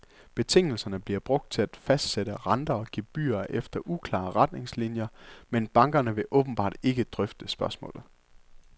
Betingelserne bliver brugt til at fastsætte renter og gebyrer efter uklare retningslinier, men bankerne vil åbentbart ikke drøfte spørgsmålet.